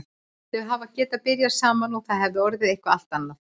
Þau hefðu getað byrjað saman og það hefði orðið eitthvað allt annað.